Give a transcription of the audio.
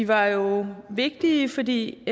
var jo vigtige fordi